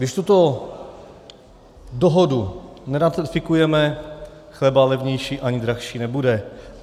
Když tuto dohodu neratifikujeme, chleba levnější ani dražší nebude.